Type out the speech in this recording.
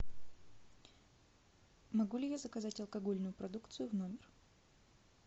могу ли я заказать алкогольную продукцию в номер